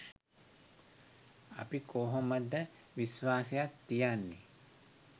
අපි කොහොමද විශ්වාසයක් තියන්නේ